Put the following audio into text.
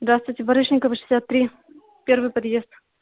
здравствуйте барышникова шестьдесят три первый подъезд